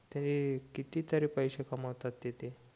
ते किती तरी पैसे कमवतात तिथे